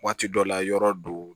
Waati dɔ la yɔrɔ do